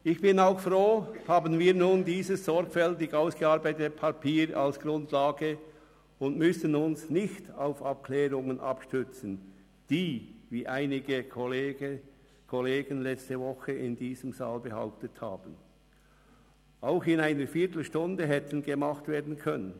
Ich bin froh, dass wir nun dieses sorgfältig ausgearbeitete Papier als Grundlage haben und dass wir uns nicht auf Abklärungen abstützen müssen, die, wie einige Kollegen letzte Woche in diesem Saal behauptet haben, auch in einer Viertelstunde hätten gemacht werden können.